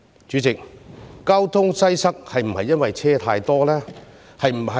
主席，交通擠塞是否因為車輛太多？